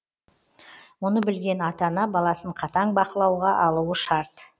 мұны білген ата ана баласын қатаң бақылауға алуы шарт